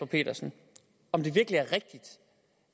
petersen om det virkelig